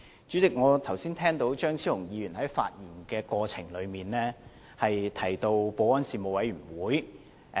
主席，我聽到張超雄議員剛才在發言中提到保安事務委員會。